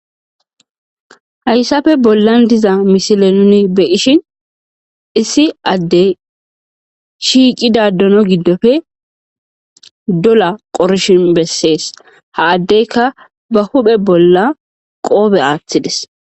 hayssafe bollan diza mishile nuni be ishin issi addey shiiqidadono giddofe dola qorshin bessees ha addeyka ba huphe bolla qoobe aaththides